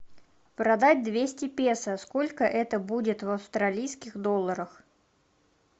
продать двести песо сколько это будет в австралийских долларах